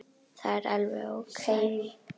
Það er alveg ókei.